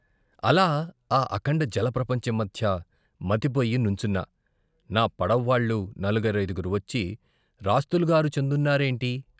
అలా ఆ అఖండ జల ప్రపంచం మధ్య మతిపోయి నుంచున్నా నా పడవ్వాళ్లు నలుగురైదుగురు వచ్చి రాస్తులుగారు చందున్నారేంటి?